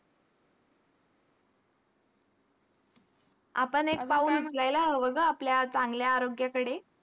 आपण एक पाऊल उचलायला हवं गं आपल्या चांगल्या आरोग्याकडे.